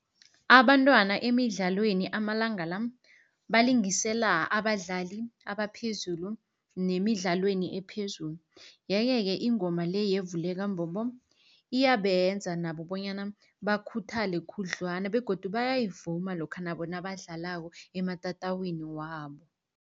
Abantwana emidlalweni amalanga la balingisela abadlali abaphezulu nemidlalweni ephezulu. Yeke-ke ingoma le yevuleka mbobo iyabenza nabo bonyana bakhuthale khudlwana begodu bayayivuma lokha nabo nabadlalako ematatawini wabo.